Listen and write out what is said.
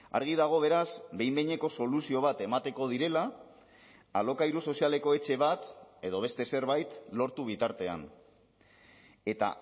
argi dago beraz behin behineko soluzio bat emateko direla alokairu sozialeko etxe bat edo beste zerbait lortu bitartean eta